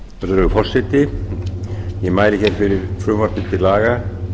virðulegur forseti ég mæli hér fyrir frumvarpi til laga